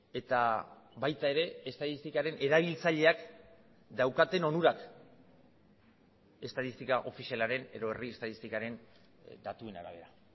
eta baita ere estatistikaren erabiltzaileak daukaten onurak estatistika ofizialaren edo herri estatistikaren datuen arabera